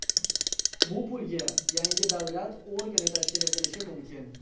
Bu pulga yangi davlat organi tashkil etilishi mumkin.